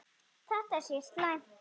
Þetta sé slæmt.